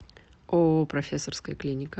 ооо профессорская клиника